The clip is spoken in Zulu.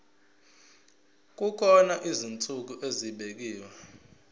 kukhona izinsuku ezibekiwe